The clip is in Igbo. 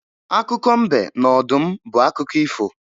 Akụkọ mbe na ọdụm bụ akụkọ ifo